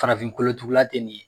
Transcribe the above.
farafin kolotugula te nin ye